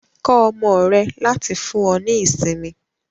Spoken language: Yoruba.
Kọ ọmọ rẹ láti fún ọ ní ìsinmi.